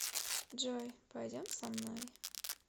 джой пойдем со мной